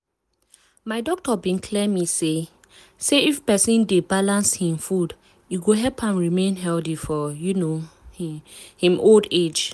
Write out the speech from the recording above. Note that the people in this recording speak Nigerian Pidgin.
my doctor bin clear me say um if persin dey balance hin food e go help am remain healthy for um hin hin old age.